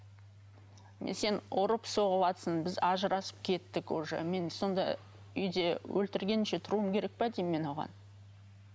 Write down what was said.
мен сен ұрып соғыватсын біз ажырасып кеттік уже мен сонда уже үйде өлтіргеніңше тұруым керек пе деймін оған